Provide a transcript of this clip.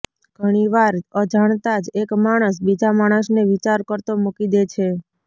ઘણીવાર અજાણતાં જ એક માણસ બીજા માણસને વિચાર કરતો મૂકી દે છે